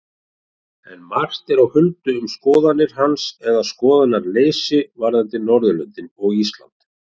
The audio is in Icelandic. Enn er margt á huldu um skoðanir hans eða skoðanaleysi varðandi Norðurlöndin og Ísland.